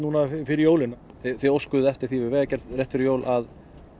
fyrir jólin þið óskuðuð eftir því við Vegagerðina rétt fyrir jól að